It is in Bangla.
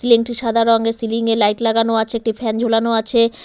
সিলিং টি সাদা রঙের সিলিং এ লাইট লাগানো আছে একটি ফ্যান ঝুলানো আছে।